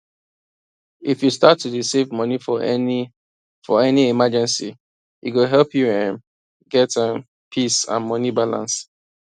if you start to dey save money for any for any emergency e go help you um get um peace and money balance